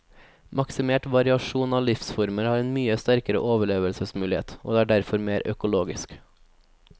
Maksimert variasjon av livsformer har en mye sterkere overlevelsesmulighet, og er derfor mer økologisk.